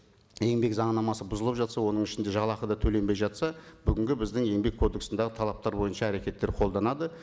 еңбек заңнамасы бұзылып жатса оның ішінде жалақы да төленбей жатса бүгінгі біздің еңбек кодексіндегі талаптар бойынша әрекеттер қолданады